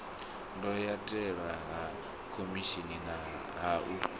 ndayotewa ha khomishini ha u